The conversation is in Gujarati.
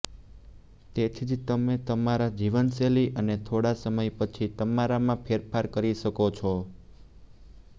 તેથી જ તમે તમારા જીવનશૈલી અને થોડા સમય પછી તમારામાં ફેરફાર કરી શકો છો